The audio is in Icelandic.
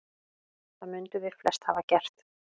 Það mundum við flest hafa gert.